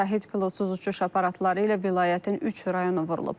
Şahid pilotsuz uçuş aparatları ilə vilayətin üç rayonu vurulub.